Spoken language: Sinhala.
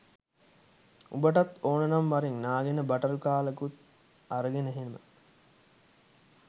උඹටත් ඕනනම් වරෙන් නාගෙන බටර් කාලකුත් අරගෙන එහෙම